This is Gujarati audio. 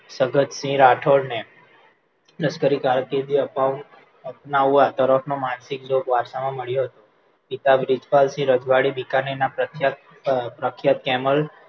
ભગતસિંહ રાઠોડને લશકરી કારકિર્દી આપવા અપનાવા તરફનો માનસિક જોગ વારસામાં મળ્યો હતો પિતા બ્રિજપાલસિંહ પરથી રજવાડી બિકાનેર પ્રખ્યાત અ પ્રખ્યાત camel